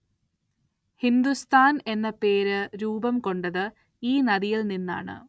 ഹിന്ദുസ്ഥാന്‍ എന്ന പേര്‌ രൂപം കൊണ്ടത് ഈ നദിയില്‍ നിന്നാണ്‌